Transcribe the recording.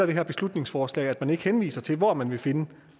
det her beslutningsforslag at man ikke henviser til hvor man vil finde